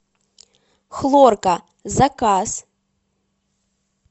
хлорка заказ